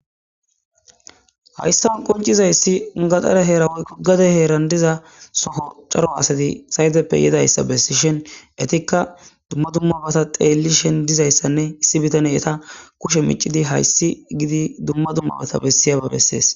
Hayissan qonccizayiss gatare hera woyikko gade heranni diza Soo cora asati sayiteppe yizayissa besishshinn ettikka dumma dumma bota xellishshenn dizayissanne issi bitaneyi etaa kushshe miccidi hayiss gidi dumma dumma bota bessiyabba besses.